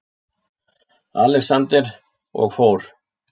ALEXANDER: Og fór!